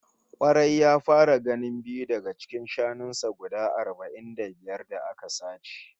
Kwarai, ya fara ganin biyu daga cikin shanun sa guda arba'in da biyar da aka sace